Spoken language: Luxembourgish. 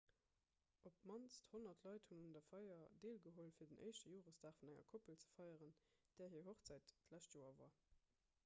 op d'mannst 100 leit hunn un der feier deelgeholl fir den éischte joresdag vun enger koppel ze feieren där hir hochzäit d'lescht joer war